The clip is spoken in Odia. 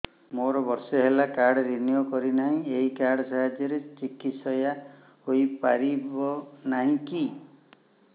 ମୋର ବର୍ଷେ ହେଲା କାର୍ଡ ରିନିଓ କରିନାହିଁ ଏହି କାର୍ଡ ସାହାଯ୍ୟରେ ଚିକିସୟା ହୈ ପାରିବନାହିଁ କି